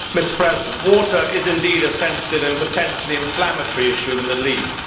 Mr President, water is indeed a sensitive and potentially inflammatory issue in the Middle East.